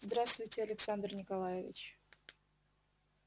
здравствуйте александр николаевич